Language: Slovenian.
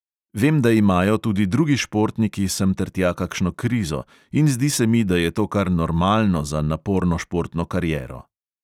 Vem, da imajo tudi drugi športniki sem ter tja kakšno krizo, in zdi se mi, da je to kar normalno za naporno športno kariero.